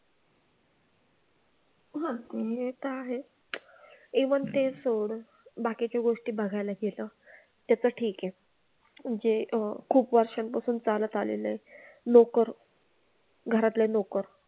हां ते तर आहेच. ते पण ते सोड, बाकीच्या गोष्टी बघायला गेलं त्याचं ठीक आहे. जे खूप वर्षांपासून चालत आलेलं आहे. नोकर घरातले नोकर. घरातले लोक